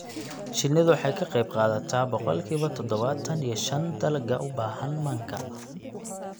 Shinnidu waxay ka qayb qaadataa boqolkiiba todobaatan iyo shan dalagga u baahan manka.